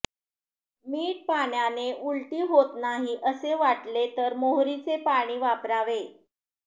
मीठ पाण्याने उलटी होत नाही असे वाटले तर मोहरीचे पाणी वापरावे